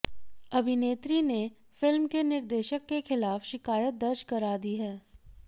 अभिनेत्री ने फिल्म के निर्देशक के खिलाफ शिकायत दर्ज करा दी है